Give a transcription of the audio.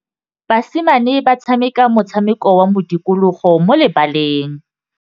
Basimane ba tshameka motshameko wa modikologô mo lebaleng.